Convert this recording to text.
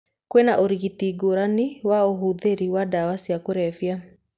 Kwĩna ũrigitani ngũrani wa ũhũthĩri wa ndawa cia kũrebia.